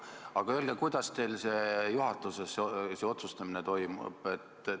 Aga öelge, kuidas teil juhatuses see otsustamine toimub?